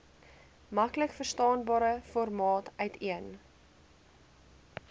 maklikverstaanbare formaat uiteen